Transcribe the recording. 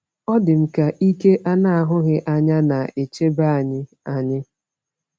Ọ dị m ka ike a na-ahụghị anya na-echebe anyị. anyị.